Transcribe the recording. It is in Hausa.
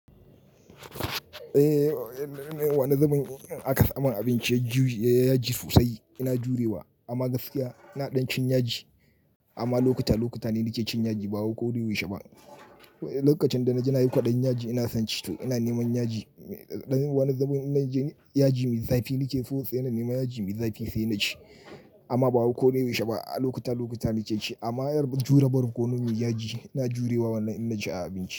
Eh, wani zubin in aka samin abinci yaji sosai ina jurewa. Amma gaskiya ina ɗan cin yaji, amma lokuta lokuta ne nake cin yaji ba wai ko da yaushe ba. Lokacin da na je nayi kwaɗayin yaji ina son ci tu. Ina neman yaji, dan wani zubin inna je yaji mai zafi nake so sosai ina nema yaji mai zafi sai na ci. Amma ba wai ko da yaushe ba a lokuta lokuta na muke ci. Amma yar jure ba riko nawa yaji ina jurewa wallahi in naci a abinci.